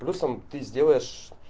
плюсом ты сделаешь